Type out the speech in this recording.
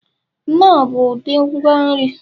knorr bụ ụdị ngwa nri